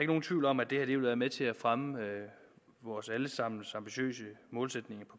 nogen tvivl om at det her vil være med til at fremme vores alle sammens ambitiøse målsætninger